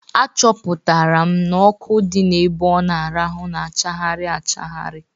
Achọpụtara m n'ọkụ dị ebe ọ na-arahụ na achagharị achagharị.